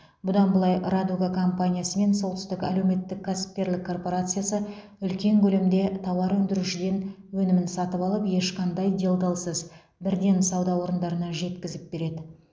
бұдан былай радуга компаниясы мен солтүстік әлеуметтік кәсіпкерлік корпорациясы үлкен көлемде тауар өндірушіден өнімін сатып алып ешқандай делдалсыз бірден сауда орындарына жеткізіп береді